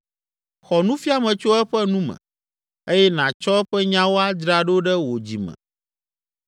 Xɔ nufiame tso eƒe nu me, eye nàtsɔ eƒe nyawo adzra ɖo ɖe wò dzi me